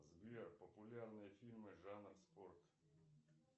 сбер популярные фильмы жанр спорт